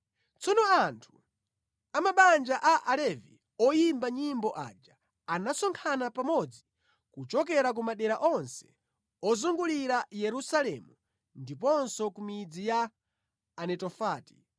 Tsono anthu a mabanja a Alevi oyimba nyimbo aja anasonkhana pamodzi kuchokera ku madera onse ozungulira Yerusalemu ndiponso ku midzi ya Anetofati,